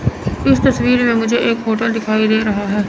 इस तस्वीर में मुझे एक होटल दिखाई दे रहा है।